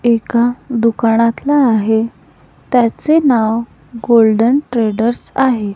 एका दुकानातला आहे त्याचे नाव गोल्डन ट्रेडर्स आहे.